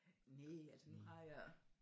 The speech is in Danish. Næ altså nu har jeg